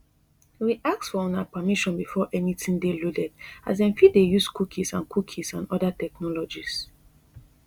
we ask for una permission before anytin dey loaded as dem fit dey use cookies and cookies and oda technologies